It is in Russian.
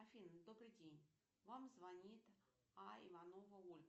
афина добрый день вам звонит а иванова ольга